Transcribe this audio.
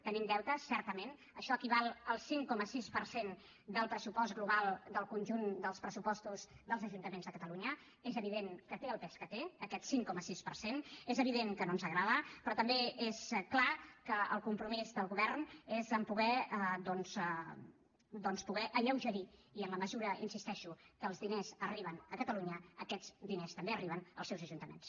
tenim deutes certament això equival al cinc coma sis per cent del pressupost global del conjunt dels pressupostos dels ajuntaments de catalunya és evident que té el pes que té aquest cinc coma sis per cent és evident que no ens agrada però també és clar que el compromís del govern és poder doncs alleugerir i en la mesura hi insisteixo que els diners arriben a catalunya aquests diners també arriben als seus ajuntaments